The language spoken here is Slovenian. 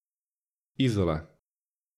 Izola.